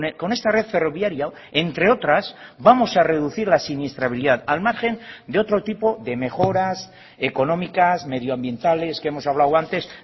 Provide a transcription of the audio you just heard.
con esta red ferroviaria entre otras vamos a reducir la siniestralidad al margen de otro tipo de mejoras económicas medioambientales que hemos hablado antes